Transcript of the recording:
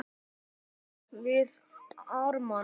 Hann var við Ármann.